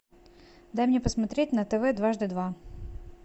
дай мне посмотреть на тв дважды два